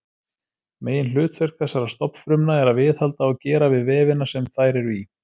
Meginhlutverk þessara stofnfrumna er að viðhalda og gera við vefina sem þær eru í.